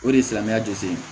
O de ye silamɛya jɔsi ye